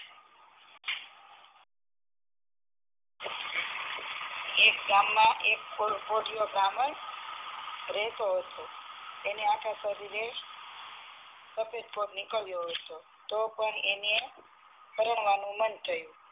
એક ગામ માં એક પોઠીયો નેનો રહેતો હતો તેને કોઢ નીકળીયો હતો તો પણ તેને પરણવાનું મન થયું